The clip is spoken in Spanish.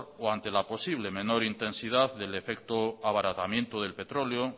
o ante la posible menor intensidad del efecto abaratamiento del petróleo